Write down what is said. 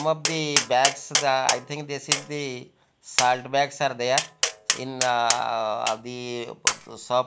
some of the bags the i think this is the salt bags are there in the ah the shop --